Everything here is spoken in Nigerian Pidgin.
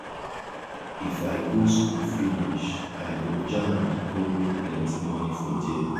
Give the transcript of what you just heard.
if i go school finish i go jand go make plenti moni for there.